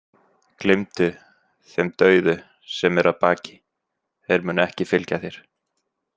Gleymdu þeim dauðu sem eru að baki, þeir munu ekki fylgja þér.